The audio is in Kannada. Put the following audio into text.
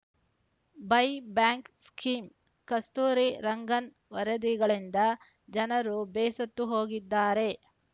ಬೈಬ್ಯಾಂಕ್ ಸ್ಕೀಂ ಕಸ್ತೂರಿ ರಂಗನ್‌ ವರದಿಗಳಿಂದ ಜನರು ಬೇಸತ್ತು ಹೋಗಿದ್ದಾರೆ